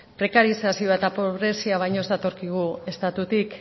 prekarizazioa eta pobrezia baino ez datorkigu estatutik